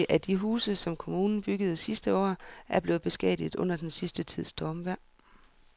Adskillige af de huse, som kommunen byggede sidste år, er blevet beskadiget under den sidste tids stormvejr.